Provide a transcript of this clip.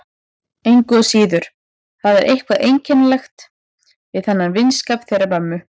Engu að síður, það er eitthvað einkennilegt við þennan vinskap þeirra mömmu.